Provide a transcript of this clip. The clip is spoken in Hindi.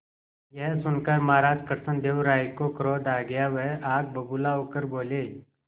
यह सुनकर महाराज कृष्णदेव राय को क्रोध आ गया वह आग बबूला होकर बोले